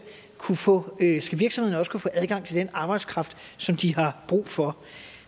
kunne få adgang til den arbejdskraft som de har brug for